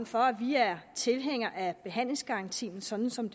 for at vi er tilhængere af behandlingsgarantien sådan som